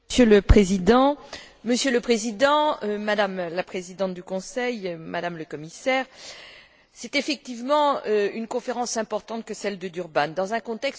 Monsieur le Président, Madame la Présidente du Conseil, Madame le Commisaire, c'est effectivement une conférence importante que celle de Durban dans un contexte qui est très difficile.